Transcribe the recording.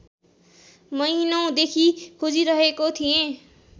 महिनौँदेखि खोजिरहेको थिएँ